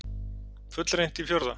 Fullreynt í fjórða?